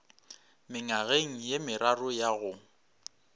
mengwageng ye meraro ya go